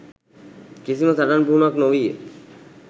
කිසිම සටන් පුහුණුවක් නොවීය.